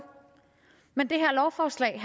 men det her lovforslag